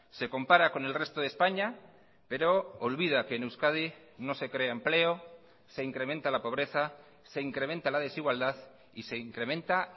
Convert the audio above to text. se compara con el resto de españa pero olvida que en euskadi no se crea empleo se incrementa la pobreza se incrementa la desigualdad y se incrementa